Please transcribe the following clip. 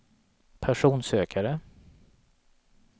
personsökare